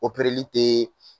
li tee